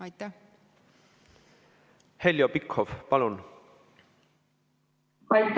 Heljo Pikhof, palun!